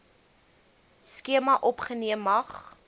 skema opgeneem mag